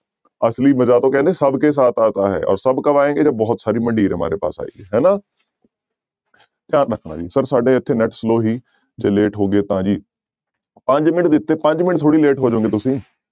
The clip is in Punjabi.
ਅਸਲੀ ਮਜ਼ਾ ਤੋਂ ਕਹਿੰਦੇ ਸਭ ਕੇ ਸਾਥ ਆਤਾ ਹੈ ਔਰ ਸਭ ਕਬ ਆਏਂਗੇ ਜਬ ਬਹੁਤ ਸਾਰੀ ਮੰਡੀਰ ਹਮਾਰੇ ਪਾਸ ਆਏਗੀ ਹਨਾ ਧਿਆਨ ਰੱਖਣਾ ਜੀ ਸਰ ਸਾਡੇ ਇੱਥੇ net slow ਸੀ ਜੇ late ਹੋ ਗਏ ਤਾਂ ਜੀ ਪੰਜ ਮਿੰਟ ਦਿੱਤੇ ਪੰਜ ਮਿੰਟ ਥੋੜ੍ਹੀ late ਹੋ ਜਾਓਗੇ ਤੁਸੀਂ।